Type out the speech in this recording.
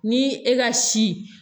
Ni e ka si